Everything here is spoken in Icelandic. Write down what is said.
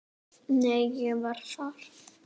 Nei, ég var þar